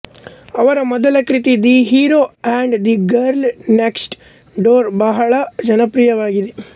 ಅವರ ಮೊದಲ ಕೃತಿ the hero and the girl next door ಬಹಳ ಜನಪ್ರಿಯವಾಗಿದೆ